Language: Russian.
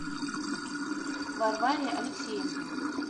варваре алексеенко